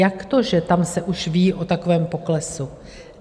Jak to, že tam se už ví o takovém poklesu?